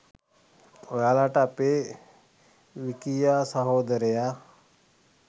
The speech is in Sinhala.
ඔයාලට අපේ විකියා සහෝදරයා